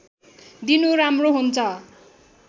दिनु राम्रो हुन्छ